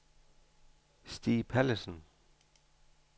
Stig Pallesen